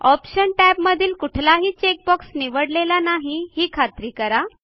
option टॅबमधील कुठलाही check box निवडलेला नाही ही खात्री करा